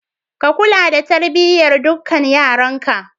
Ka kula da tarbiyyar dukkan yaranka.